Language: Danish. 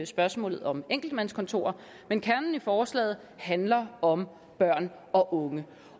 spørgsmålet om enkeltmandskontorer men kernen i forslaget handler om børn og unge